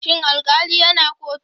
Shin alkali yana kotu?